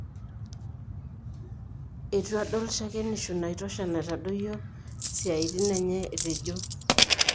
'Etu aldol shakenisho naitosha naitadoyio siatin enye''etejo.